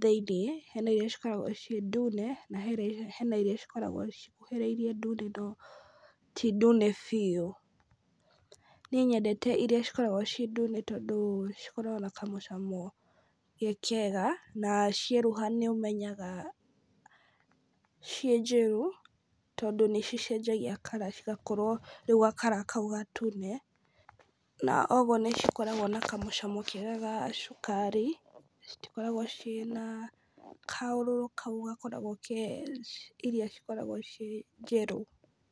thĩinĩ, hena iria cikoragwo ciĩ ndune, na hena na hena iria cikoragwo cikuhĩrĩirie ndune no ti ndune biũ. Niĩ nyendete iria cikoragwo ciĩ ndune tondũ cikoragwo na kamũcamo ge kega, na cieruha nĩũmenyaga ciĩ njĩru tondũ nĩ cicenjagia color cigakorwo rĩu ga- color kau gatune, na ũguo nĩ cikoragwo na kamũcamo kega ga cukari, citikoragwo ciĩ na kaũrũrũ kau gakoragwo ke iria cikoragwo ciĩ njĩru.